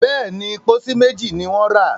béèni, pósí méjì ní wón ra.